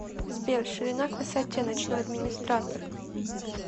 сбер ширина к высоте ночной администратор